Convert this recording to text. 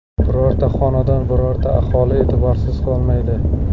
Birorta xonadon, birorta aholi e’tiborsiz qolmaydi.